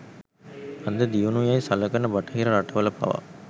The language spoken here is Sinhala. අද දියුණු යැයි සලකන බටහිර රටවල පවා